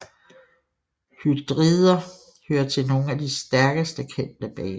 Hydrider hører til nogle af de stærkeste kendte baser